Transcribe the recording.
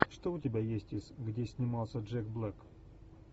что у тебя есть из где снимался джек блэк